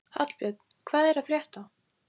Hallbjörn, hvað er að frétta?